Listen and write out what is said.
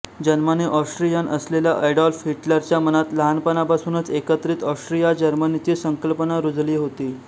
जन्माने ऑस्ट्रियन असलेल्या एडॉल्फ हिटलरच्या मनात लहानपणापासुनच एकत्रित ऑस्ट्रियाजर्मनीची संकल्पना रुजली होती